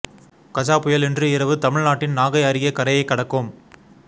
கஜ புயல் இன்று இரவு தமிழ் நாட்டின் நாகை அருகே கரையை கடக்கும்